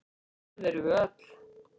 Það erum við öll.